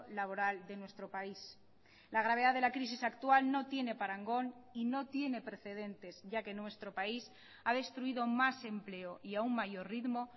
laboral de nuestro país la gravedad de la crisis actual no tiene parangón y no tiene precedentes ya que nuestro país ha destruido más empleo y a un mayor ritmo